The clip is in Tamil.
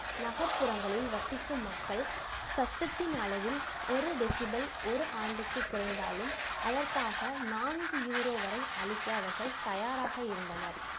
நகர்ப்புறங்களில் வசிக்கும் மக்கள் சத்தத்தின் அளவில் ஒரு டெசிபல் ஒரு ஆண்டுக்கு குறைந்தாலும் நான்கு யூரோ வரை அழிக்க அவர்கள் தயாராக இருந்தனர்